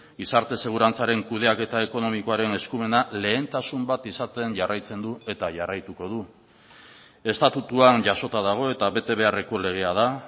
gizarte segurantzaren kudeaketa ekonomikoaren eskumena lehentasun bat izaten jarraitzen du eta jarraituko du estatutuan jasota dago eta bete beharreko legea da